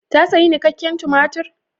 Ta sayi nikakken tumatir?